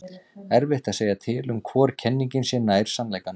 erfitt er að segja til um hvor kenningin sé nær sannleikanum